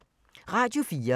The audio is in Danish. Radio 4